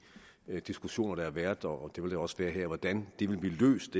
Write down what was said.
diskussioner der har været og det vil der også være her hvordan det vil blive løst